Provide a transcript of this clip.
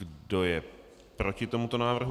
Kdo je proti tomuto návrhu?